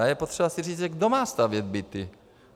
A je potřeba si říct, kdo má stavět byty.